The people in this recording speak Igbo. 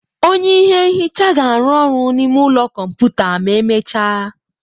Onye ihe nhicha ga-arụ ọrụ n'ime ụlọ kọmputa ma emechaa.